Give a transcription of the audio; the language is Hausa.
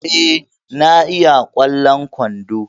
Eh, na iya kwallon kwandon